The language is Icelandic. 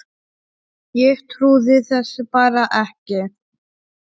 Ég trúði þessu bara ekki.